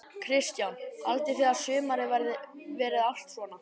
Kristján: Haldið þið að sumarið verið allt svona?